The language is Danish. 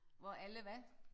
Hvor alle hvad?